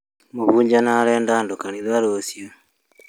Mũhunjia nĩ arenda andũ kanitha-inĩ rũciu